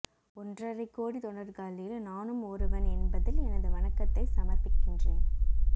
ஒன்றரை கோடி தொண்டர்களில் நானும் ஒருவன் என்பதில் எனது வணக்கத்தை சமர்ப்பிக்கின்றேன்